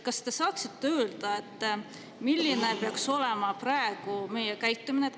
Kas te saaksite öelda, milline peaks olema praegu meie käitumine?